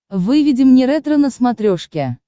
выведи мне ретро на смотрешке